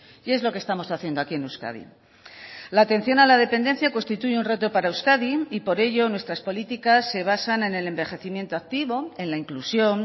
y es lo que estamos haciendo aquí en euskadi la atención a la dependencia constituye un reto para euskadi y por ello nuestras políticas se basan en el envejecimiento activo en la inclusión